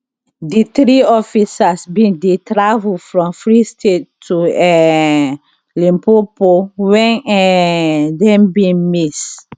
di three officers bin dey travel from free state to um limpopo wen um dem bin miss